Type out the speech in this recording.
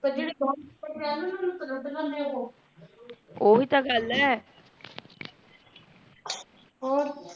ਪਰ ਜੇਡੇ ਬਾਹਰ ਵਲੇ ਐ ਨ ਓਹਨ ਨੂ ਤ ਲੂਟ ਲੇਹੰਦੇ ਓ ਓਹੀ ਤਾ ਗੱਲ ਆ ਹੋਰ